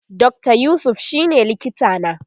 Dr yusuf shine likita na